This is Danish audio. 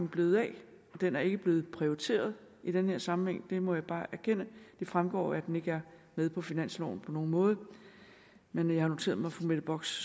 blevet af den er ikke blevet prioriteret i den her sammenhæng det må jeg bare erkende det fremgår at den ikke er med på finansloven på nogen måde men jeg har noteret mig fru mette bocks